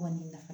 Kɔni nafa